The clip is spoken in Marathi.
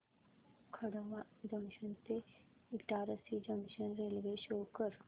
खंडवा जंक्शन ते इटारसी जंक्शन रेल्वे शो कर